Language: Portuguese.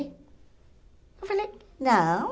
Eu falei, não.